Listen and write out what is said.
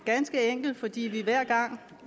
ganske enkelt fordi vi hver gang